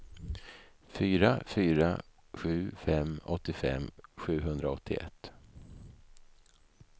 fyra fyra sju fem åttiofem sjuhundraåttioett